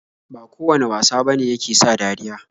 Ba kowane wasa bane yake sa dariya.